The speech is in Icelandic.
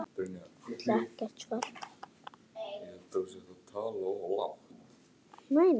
Vill ekkert svar.